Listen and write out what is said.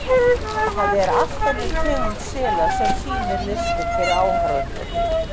Það er allt önnur tegund sela sem sýnir listir fyrir áhorfendur.